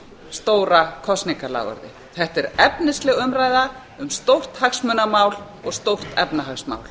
stóra kosningaloforðið þetta er efnisleg umræða um stórt hagsmunamál og stórt efnahagsmál